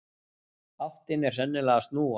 Áttin er sennilega að snúast.